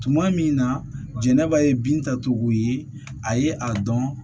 Tuma min na jɛnɛba ye bintacogo ye a ye a dɔn